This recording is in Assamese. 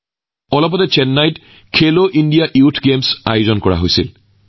মাত্ৰ কেইদিনমানৰ আগতে চেন্নাইত খেলো ইণ্ডিয়া য়ুথ গেমছৰ শুভাৰম্ভ কৰা হৈছিল